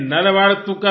नल वाड़ तुक्कल